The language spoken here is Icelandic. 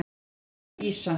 Nú er það ýsa.